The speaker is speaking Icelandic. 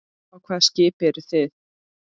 Á hvaða skipi eru þið?